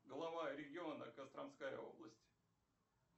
глава региона костромская область